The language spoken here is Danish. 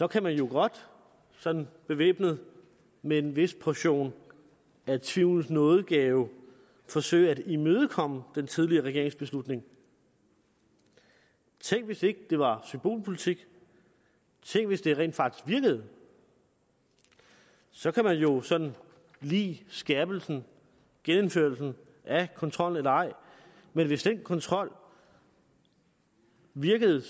kan man jo godt sådan bevæbnet med en vis portion af tvivlens nådegave forsøge at imødekomme den tidligere regerings beslutning tænk hvis ikke det var symbolpolitik tænk hvis det rent faktisk virkede så kan man jo sådan lide skærpelsen genindførelsen af kontrollen eller ej men hvis den kontrol virkede